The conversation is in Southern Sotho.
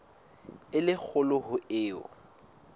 e le kgolo ho eo